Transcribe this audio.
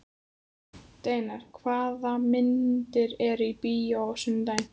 Steinar, hvaða myndir eru í bíó á sunnudaginn?